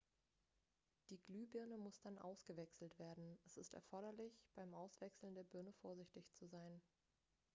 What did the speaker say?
die glühbirne muss dann ausgewechselt werden es ist erforderlich beim auswechseln der birne vorsichtig zu sein